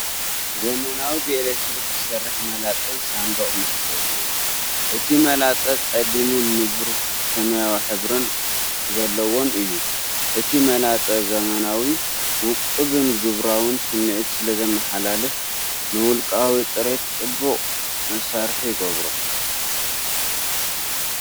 ዘመናዊ ብኤሌክትሪክ ዝሰርሕ መላጸን ሳንዱቕ መዐሸጊኡን። እቲ መላጸ ጸሊምን ንብሩህ ሰማያዊ ሕብሪ ዘለዎን እዩ። እቲ መላጸ ዘመናዊ፡ ውቁብን ግብራውን ስምዒት ስለዘመሓላልፍ፡ ንውልቃዊ ጽሬት ጽቡቕ መሳርሒ ይገብሮ።